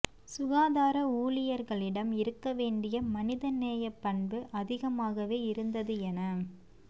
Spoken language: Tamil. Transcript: சுகாதார ஊழியர்களிடம் இருக்க வேண்டிய மனித நேய பண்பு அதிகமாகவே இருந்தது என